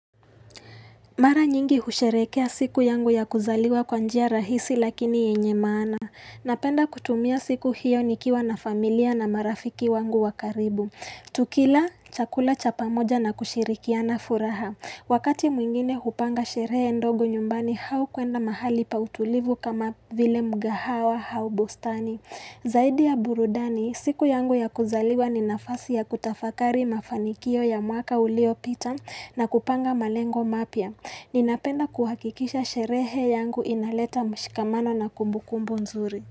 Mara nyingi husherekea siku yangu ya kuzaliwa kwa njia rahisi lakini yenye maana. Napenda kutumia siku hiyo nikiwa na familia na marafiki wangu wa karibu. Tukila chakula chapa moja na kushirikiana furaha. Wakati mwingine hupanga sherehe ndogo nyumbani hau kuenda mahali pa utulivu kama vile mgahawa hau bustani. Zaidi ya burudani, siku yangu ya kuzaliwa ni nafasi ya kutafakari mafanikio ya mwaka uliopita na kupanga malengo mapya. Ninapenda kuhakikisha sherehe yangu inaleta mshikamano na kumbu kumbu nzuri.